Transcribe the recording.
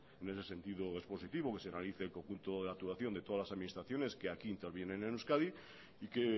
en ese sentido es positivo que se realice el conjunto de actuación de todas las administraciones que aquí intervienen en euskadi y que